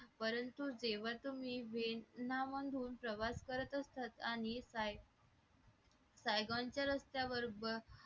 परंतु देवा व्यसना मधून प्रवास असतात आणि साहेबांच्या रस्त्यावर